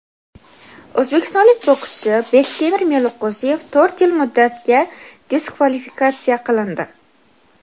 o‘zbekistonlik bokschi Bektemir Meliqo‘ziyev to‘rt yil muddatga diskvalifikatsiya qilindi.